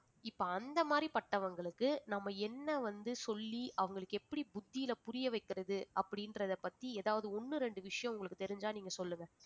இப்ப அந்த மாதிரி பட்டவங்களுக்கு நம்ம என்ன வந்து சொல்லி அவங்களுக்கு எப்படி புத்தியில புரிய வைக்கிறது அப்படின்றதை பத்தி ஏதாவது ஒண்ணு ரெண்டு விஷயம் உங்களுக்கு தெரிஞ்சா நீங்க சொல்லுங்க